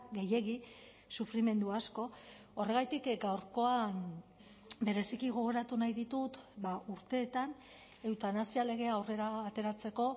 gehiegi sufrimendu asko horregatik gaurkoan bereziki gogoratu nahi ditut urteetan eutanasia legea aurrera ateratzeko